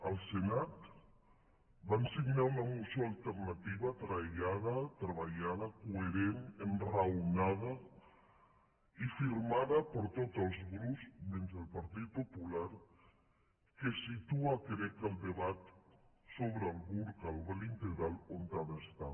al senat van signar una moció alternativa treballada coherent enraonada i firmada per tots els grups menys el partit popular que situa crec el debat sobre el burca el vel integral on ha d’estar